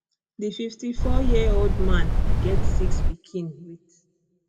di fifty four yearold man get six pikin wit